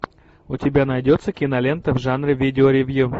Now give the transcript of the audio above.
у тебя найдется кинолента в жанре видео ревью